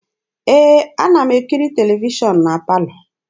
Ee, ana m ekiri televishọn na palọ.